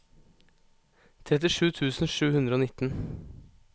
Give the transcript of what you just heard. trettisju tusen sju hundre og nitten